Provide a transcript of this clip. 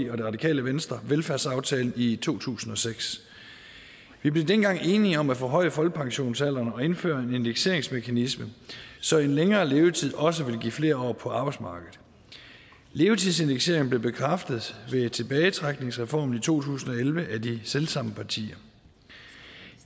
radikale venstre velfærdsaftalen i to tusind og seks vi blev dengang enige om at forhøje folkepensionsalderen og indføre en indekseringsmekanisme så en længere levetid også vil give flere år på arbejdsmarkedet levetidsindekseringen blev bekræftet ved tilbagetrækningsreformen i to tusind og elleve af de selv samme partier